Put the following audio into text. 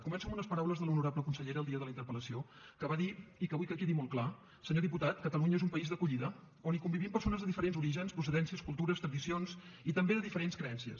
començo amb unes paraules de l’honorable consellera el dia de la interpel·lació que va dir i que vull que quedi molt clar senyor diputat catalunya és un país d’acollida on hi convivim persones de diferents orígens procedències cultures tradicions i també de diferents creences